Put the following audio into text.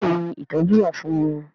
Bẹ́ẹ̀ni ìtọ́jú wà fún wọn